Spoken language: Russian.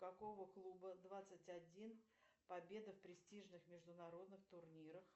какого клуба двадцать один победа в престижных международных турнирах